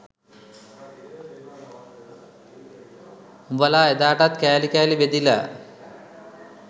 උඹලා එදාටත් කෑලි කෑලි බෙදිලා